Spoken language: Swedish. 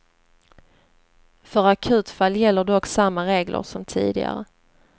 För akutfall gäller dock samma regler som tidigare.